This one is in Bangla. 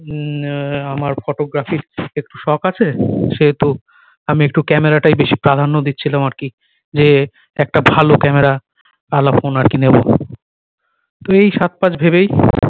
উম নে আমার photography একটু শখ আছে সেহেতু আমি একটু camera টাই বেশি প্রাধান্য দিচ্ছিলাম আর কি যে একটা ভালো camera আলা ফোন আর কি নেবো এই সাথ পাঁচ ভেবেই